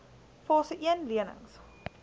fase een lenings